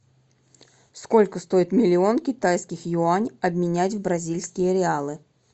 сколько стоит миллион китайских юань обменять в бразильские реалы